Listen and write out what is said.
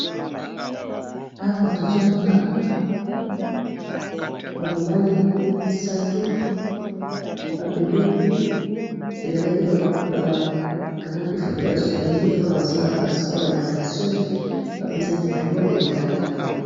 Awa tozomona bamobali misato bapembeni ezalaki bakangaki foto ya souveni mpona basalaka ya spore ya natation bapesaki bango medaile